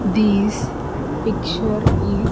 This picture is --